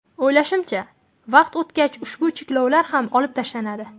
O‘ylashimcha, vaqt o‘tgach ushbu cheklovlar ham olib tashlanadi.